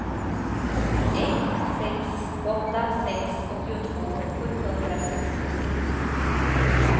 ett sex åtta sex åttiotvå sjuhundrasextiosex